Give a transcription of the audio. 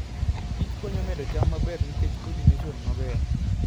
Kich konyo medo cham maber nikech polination maber